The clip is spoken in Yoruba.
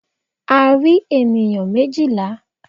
A rí ènìyàn méjìlá.